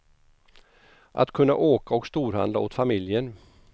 Att kunna åka och storhandla åt familjen.